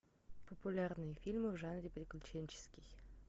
популярные фильмы в жанре приключенческий